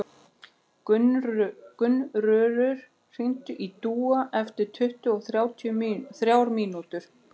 Gunnröður, hringdu í Dúa eftir tuttugu og þrjár mínútur.